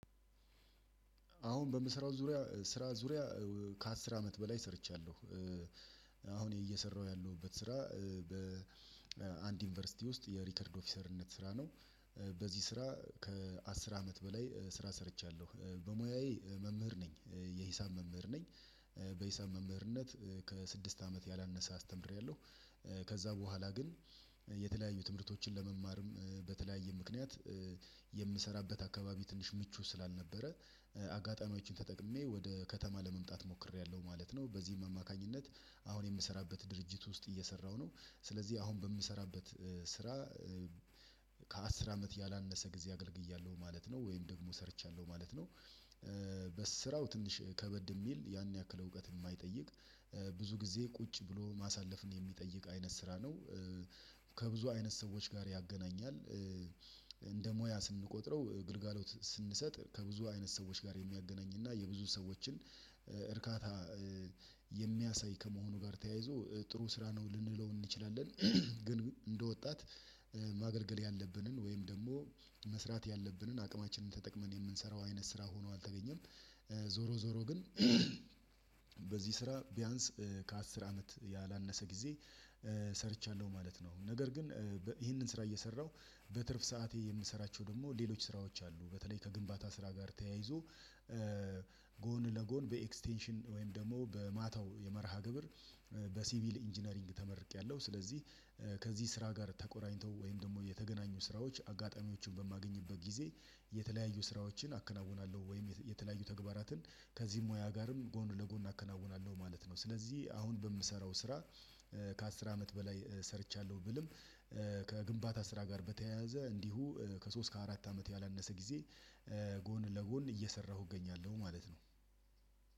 አሁን በምሰራው ዙሪያ ስራ ዙሪያ ከአስር አመት በላይ ሰርቻለሁ። አሁን እየሰራሁ ያለሁበት ስራ በአንድ ዩኒቨርሲቲ ውስጥ የሪከርድ ኦፊሰርነት ስራ ነው። በዚህ ስራ ከአስር አመት በላይ ስራ ሰርቻለሁ። በሙያዬ መምህር ነኝ የሂሳብ መምህር ነኝ። በሂሳብ መምህርነት ከስድስት አመት ያላነሰ አስተምሬያለሁ። ከዛ በኋላ ግን የተለያዩ ትምህርቶችን ለመማርም በተለያየ ምክንያት የምሰራበት አካባቢ ትንሽ ምቹ ስላልነበረ አጋጣሚዎችን ተጠቅሜ ወደ ከተማ ለመምጣት ሞክሬያለሁ ማለት ነው። በዚህም አማካኝነት አሁን የምሰራበት ድርጅት ውስጥ እየሰራሁ ነው። ስለዚህ አሁን በምሰራበት ስራ ከአስር አመት ያላነሰ ጊዜ አገልግያለሁ ማለት ነው ወይም ደግሞ ሰርቻለሁ ማለት ነው። በስራው ትንሽ ከበድ የሚል ያን ያክል እውቀት የማይጠይቅ ብዙ ጊዜ ቁጭ ብሎ ማሳለፍን የሚጠይቅ አይነት ስራ ነው። ከብዙ አይነት ሰዎች ጋር ያገናኛል። እንደ ሙያ ስንቆጥረው ግልጋሎት ስንሰጥ ከብዙ አይነት ሰዎች ጋር የሚያገናኝ እና የብዙ ሰዎችን እርካታ የሚያሳይ ከመሆኑ ጋር ተያይዞ ጥሩ ስራ ነው ልንለው እንችላለን። ግን እንደ ወጣት ማገልገል ያለብንን ወይም ደግሞ መስራት ያለብንን አቅማችንን ተጠቅመን የምንሰራው አይነት ስራ ሆኖ አልተገኘም። ዞሮ ዞሮ ግን ስራ ቢያንስ ከአስር አመት ያላነሰ ጊዜ ሰርቻለሁ ማለት ነው። ነገር ግን ይህንን ስራ እየሰራሁ በትርፍ ሰዓቴ የምሰራቸው ደግሞ ሌሎች ስራዎች አሉ። በተለይ ከግንባታ ስራ ጋር ተያይዞ ጎን ለጎን በኤክስቴንሽን ወይም ደግሞ በማታው የመርሃ ግብር በሲቪል ኢንጂነሪንግ ተመርቄያለሁ። ስለዚህ ከዚህ ስራ ጋር ተቆራኝተው ወይም ደግሞ የተገናኙ ስራዎች አጋጣሚዎችን በማገኝበት ጊዜ የተለያዩ ስራዎችን አከናውናለሁ ወይም የተለያዩ ተግባራትን ከዚህ ሙያ ጋርም ጎን ለጎን አከናውናለሁ ማለት ነው። ስለዚህ አሁን በምሰራው ስራ ከአስር አመት በላይ ሰርቻለሁ ብልም ከግንባታ ስራ ጋር በተያያዘ እንዲሁ ከሶስት ከአራት አመት ያላነሰ ጊዜ ጎን ለጎን እየሰራሁ እገኛለሁ ማለት ነው